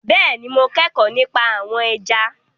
Bẹ́ẹ̀ni mo kẹ́kọ̀ọ́ nípa àwọn ẹja